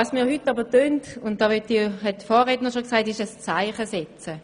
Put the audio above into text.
Was wir heute jedoch tun, ist, ein Zeichen zu setzen.